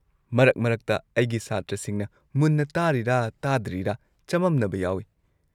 ꯃꯔꯛ ꯃꯔꯛꯇ ꯑꯩꯒꯤ ꯁꯥꯇ꯭ꯔꯁꯤꯡꯅ ꯃꯨꯟꯅ ꯇꯥꯔꯤꯔꯥ ꯇꯥꯗ꯭ꯔꯤꯔꯥ ꯆꯃꯝꯅꯕ ꯌꯥꯎꯏ꯫